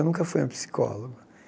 Eu nunca fui a um psicólogo.